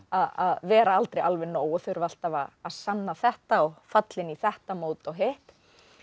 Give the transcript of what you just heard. að vera aldrei alveg nóg og þurfa alltaf að að sanna þetta og falla inn í þetta mót og hitt